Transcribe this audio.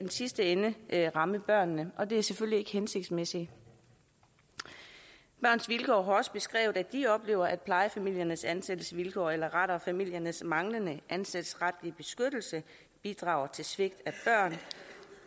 sidste ende ramme børnene og det er selvfølgelig ikke hensigtsmæssigt børns vilkår har også beskrevet at de oplever at plejefamiliernes ansættelsesvilkår eller rettere familiernes manglende ansættelsesretlige beskyttelse bidrager til svigt